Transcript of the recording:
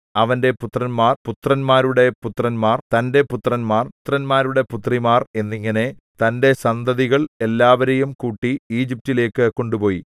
അവന്റെ പുത്രന്മാർ പുത്രന്മാരുടെ പുത്രന്മാർ തന്റെ പുത്രിമാർ പുത്രന്മാരുടെ പുത്രിമാർ എന്നിങ്ങനെ തന്റെ സന്തതികൾ എല്ലാവരേയും കൂട്ടി ഈജിപ്റ്റിലേക്കു കൊണ്ടുപോയി